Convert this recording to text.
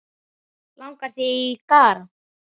Langar þig í garð?